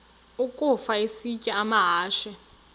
ukafa isitya amahashe